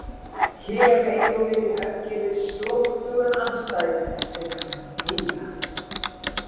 Hér eigum við í höggi við slóttugan andstæðing sem kann að þegja.